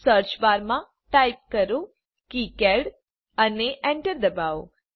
સર્ચબારમાં type કરો KiCad અને Enter દબાવો